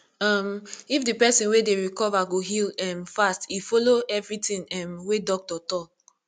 um if di pesin wey dey recover go heal um fast e follow everything um wey doctor talk